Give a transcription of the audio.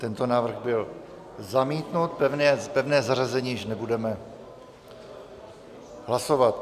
Tento návrh byl zamítnut, pevné zařazení již nebudeme hlasovat.